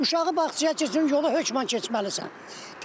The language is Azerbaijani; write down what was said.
Uşağı bağçaya qoymuşum yolu hökmən keçməlisən.